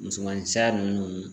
Musomanin saya ninnu